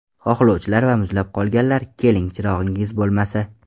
Xohlovchilar va muzlab qolganlar, keling, chirog‘ingiz bo‘lmasa!